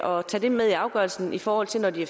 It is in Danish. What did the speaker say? og tage det med i afgørelsen i forhold til når de